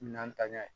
Minan ta ɲɛ